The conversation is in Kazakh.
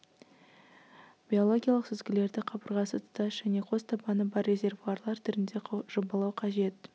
биологиялық сүзгілерді қабырғасы тұтас және қос табаны бар резервуарлар түрінде жобалау қажет